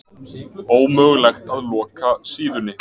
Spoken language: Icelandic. Ómögulegt að loka síðunni